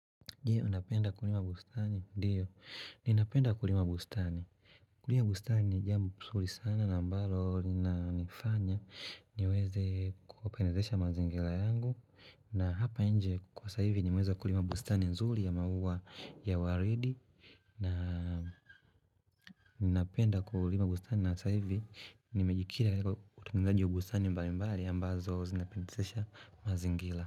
Ndiyo, ninapenda kulima bustani. Kulima bustani ni jambo nsuri sana na mbalo ni na nifanya niweze kupendazesha mazingila yangu na hapa inje kwa saivi nimeweza kulima bustani nzuli ya maua ya waridi na ninapenda kulima bustani na saivi nimejikira kwa kutungalaji ubustani mbali mbali ambazo zinapendazesha mazingila.